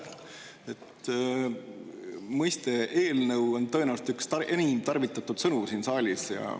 "eelnõu" on tõenäoliselt üks enim tarvitatav sõna siin saalis.